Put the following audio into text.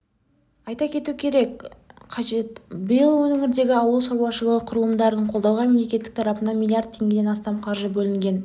айта кету қажет биыл өңірдегі ауыл шаруашылығы құрылымдарын қолдауға мемлекет тарапынан млрд теңгеден астам қаржы бөлінген